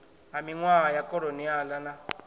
ha minwaha ya kholoniala na